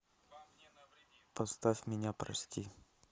поставь меня прости